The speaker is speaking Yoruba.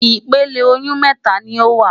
Ìpele oyún mẹ́ta ni ó wà.